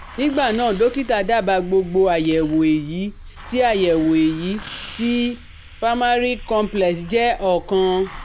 nígbà náà Dọ́kítà dábàá gbogbo àyẹ̀wò èyí tí àyẹ̀wò èyí tí primary complex jẹ́ ọ̀kan